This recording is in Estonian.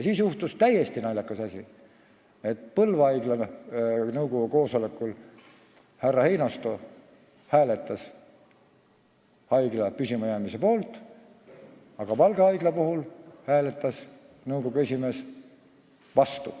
Siis juhtus täiesti naljakas asi: Põlva haigla nõukogu koosolekul härra Einasto hääletas haigla püsimajäämise poolt, aga Valga haiglas hääletas nõukogu esimees vastu.